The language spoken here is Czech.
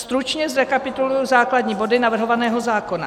Stručně zrekapituluji základní body navrhovaného zákona.